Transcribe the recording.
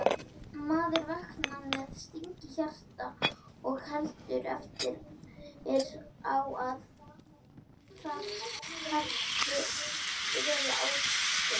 Maður vaknar með sting í hjarta og heldur eftir á að það hafi verið ástin